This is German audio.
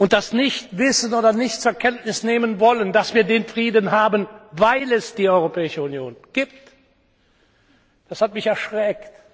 Das Nicht Wissen oder Nicht Zur Kenntnis Nehmen Wollen, dass wir den Frieden haben, weil es die Europäische Union gibt, das hat mich erschreckt!